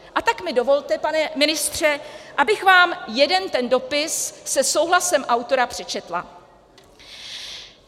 A tak mi dovolte, pane ministře, abych vám jeden ten dopis se souhlasem autora přečetla: